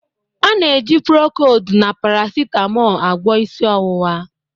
A na-eji procold na paracetmol agwọ isi ọwụwa